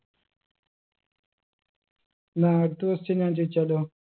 ന്നാ അടുത്ത question ഞാൻ ചോയിച്ചാലോ